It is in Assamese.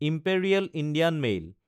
imperial Indian mail